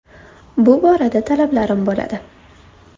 Bu borada talablarim bo‘ladi.